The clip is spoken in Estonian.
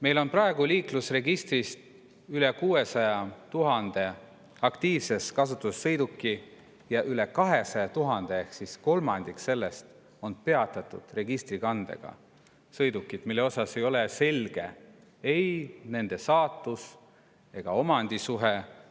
Meil on praegu liiklusregistris üle 600 000 aktiivses kasutuses sõiduki ja üle 200 000 ehk kolmandik on peatatud registrikandega sõidukid, mille puhul ei ole selge ei nende saatus ega omandisuhe.